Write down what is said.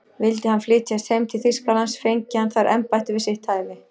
Vildi hann flytjast heim til Þýskalands, fengi hann þar embætti við sitt hæfi.